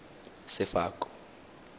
sefako